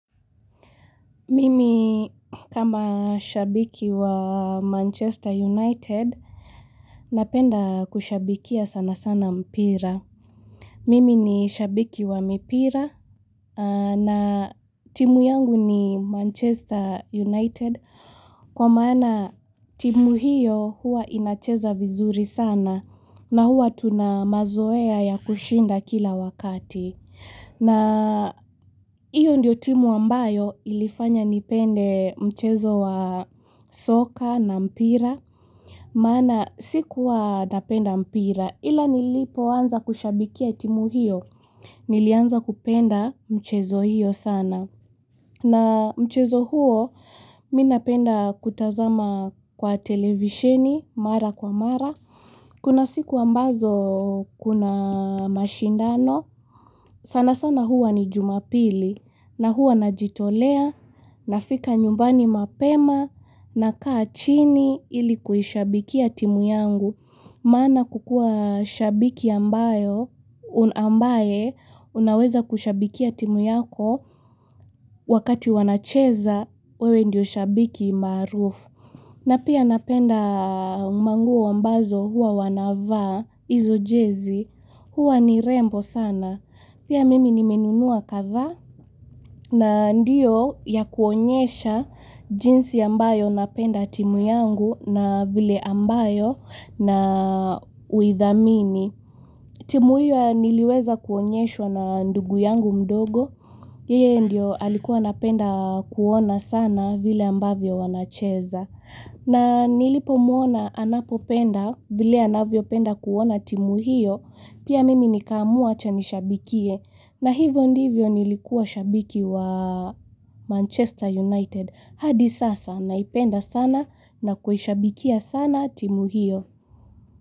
Mimi kama shabiki wa Manchester United napenda kushabikia sana sana mpira. Mimi ni shabiki wa mipira na timu yangu ni Manchester United kwa maana timu hiyo hua inacheza vizuri sanaa na huwa tuna mazoea ya kushinda kila wakati. Na hiyo ndio timu ambayo ilifanya nipende mchezo wa soka na mpira. Maana sikuwa napenda mpira ila nilipo anza kushabikia timu hiyo nilianza kupenda mchezo hiyo sana. Na mchezo huo mimi napenda kutazama kwa televisheni mara kwa mara. Kuna siku ambazo kuna mashindano, sana sana huwa ni jumapili, na huwa najitolea nafika nyumbani mapema, nakaa chini ili kuishabikia timu yangu. Maana kukuwa shabiki ambayo, ambaye unaweza kushabikia timu yako wakati wanacheza, wewe ndio shabiki maarufu. Na pia napenda manguo ambazo huwa wanavaa, izo jezi huwa ni rembo sana. Pia mimi nimenunua kadhaa na ndiyo ya kuonyesha jinsi ambayo napenda timu yangu na vile ambayo na uithamini. Timu hiyo niliweza kuonyeshwa na ndugu yangu mdogo, yeye ndio alikuwa anapenda kuona sana vile ambavyo wanacheza. Na nilipomuona anapopenda vile anavyopenda kuona timu hiyo, pia mimi nikaamua acha nishabikie. Na hivyo ndivyo nilikuwa shabiki wa Manchester United, hadi sasa naipenda sana na kuhishabikia sana timu hiyo.